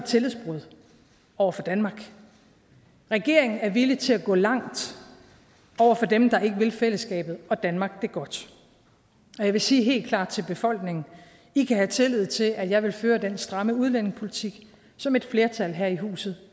tillidsbrud over for danmark regeringen er villig til at gå langt over for dem der ikke vil fællesskabet og danmark det godt og jeg vil sige helt klart til befolkningen i kan have tillid til at jeg vil føre den stramme udlændingepolitik som et flertal her i huset